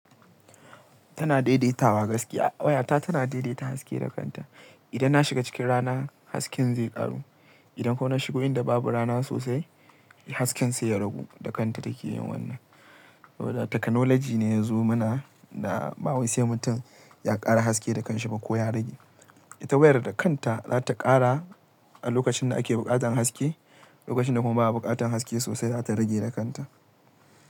Tana daidaitawa gaskiya. Wayata tana daidaita haske da kanta. Idan na shiga cikin rana, hasken zai ƙaru. Idan kuma na shigo inda babu rana sosai, hasken sai ya ragu. Da kanta take yin wannan. To, teknoloji ne yazo mana ba wai sai mun ta ya ƙara haske da kanshi ba ko ya rage. Ita wayar da kanta za ta ƙara a lokacin da ake buƙatan haske, lokacin da kuma ba'a buƙatan haske sosai za ta rage da kanta.